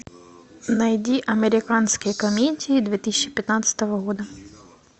найди американские комедии две тысячи пятнадцатого года